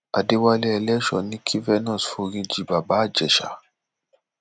adéwálé eléshò ní kí venus foríjì bàbá ìjẹsà